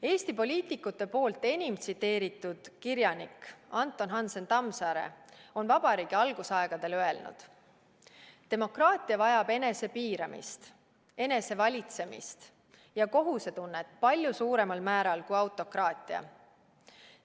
Eesti poliitikute enim tsiteeritud kirjanik Anton Hansen Tammsaare on Vabariigi algusaegadel öelnud: "Demokraatia vajab enesepiiramist, enesevalitsemist ja kohusetunnet palju suuremal määral kui autokraatia.